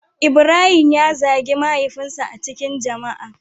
Ibrahim ya zagi mahaifin sa a cikin jama'a.